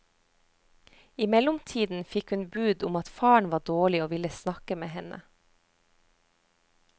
I mellomtiden fikk hun bud om at faren var dårlig og ville snakke med henne.